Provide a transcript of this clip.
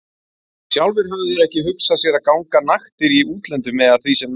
Sjálfir höfðu þeir ekki hugsað sér að ganga naktir í útlöndum eða því sem næst.